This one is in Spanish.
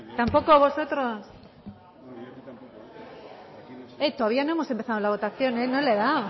tampoco a vosotros todavía no hemos empezado la votación no le he dado